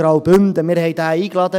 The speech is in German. Wir hatten diesen zu uns eingeladen.